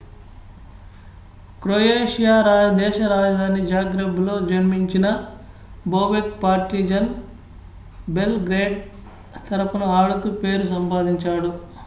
Croatia దేశ రాజధాని జాగ్రెబ్లో జన్మించిన బోబెక్ పార్టిజన్ బెల్ గ్రేడ్ తరఫున ఆడుతూ పేరు సంపాదించాడు